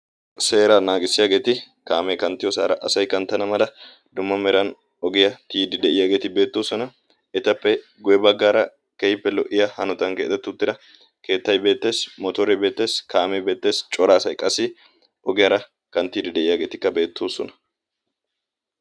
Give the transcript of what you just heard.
Seeraa naagissiyaageeti kaamee kanttiyoosaara asai kanttana mala dumma meran ogiyaa tiyidi de'iyaageeti beettoosona. etappe guye baggaara kehippe lo'iya hanotan keetattuttira keettai beetteesi motoore beetteesi kaamee beetteesi cora asay qassi ogiyaara kanttidi de'iyaageetikka beettoosona.